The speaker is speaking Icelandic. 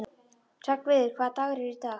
Hreggviður, hvaða dagur er í dag?